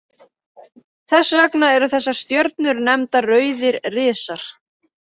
Þess vegna eru þessar stjörnur nefndar rauðir risar.